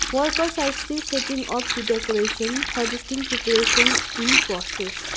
workers are still setting up the decoration suggesting preparation in process.